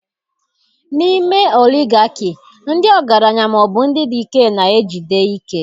N'ime oligarchy, ndị ọgaranya ma ọ bụ ndị dị ike na-ejide ike